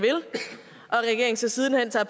så siden hen tager